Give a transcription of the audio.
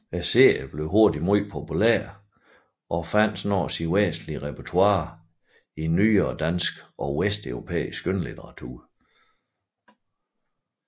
Serien blev hurtigt meget populær og fandt snart sit væsentligste repertoire i nyere dansk og vesteuropæisk skønlitteratur